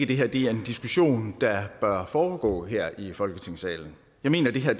det her er en diskussion der bør foregå her i folketingssalen jeg mener at det her